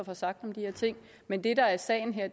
har sagt om de her ting men det der er sagen her